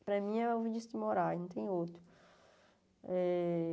Para mim é o Vinicius de Moraes, não tem outro. Eh